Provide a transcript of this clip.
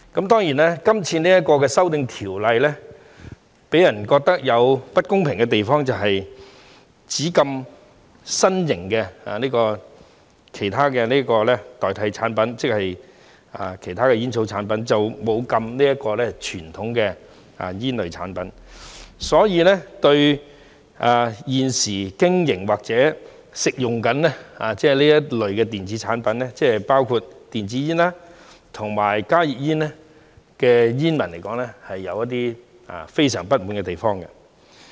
當然，今次這項修訂條例草案予人覺得有不公平的地方是，只禁止新型及其他代替煙草的產品，沒有禁止傳統煙類產品，所以，對於現時經營或正在吸食這類電子產品——包括電子煙和加熱煙——的人士及煙民來說，他們是有一些非常不滿的地方。